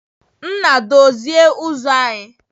Nna, dozie uzo anyi!